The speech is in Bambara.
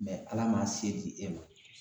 Ala man se di e ma